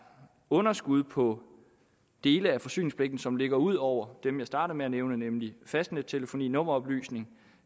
underskud på dele af forsyningspligten som ligger ud over dem jeg startede med at nævne nemlig fastnettelefoni nummeroplysning